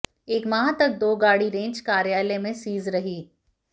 एक माह तक दो गाड़ी रेंज कार्यालय में सीज रही